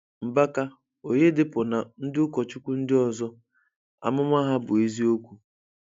Mbaka, Oyedepo na ndị ụkọchukwu ndị ọzọ amụma ha bụ eziokwu.